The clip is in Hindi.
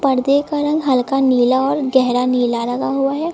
पर्दे का रंग हल्का नीला और गहरा नीला लगा हुआ है।